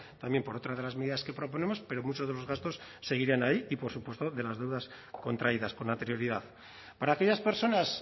también por otra de las medidas que proponemos pero muchos de los gastos seguirán ahí y por supuesto de las deudas contraídas con anterioridad para aquellas personas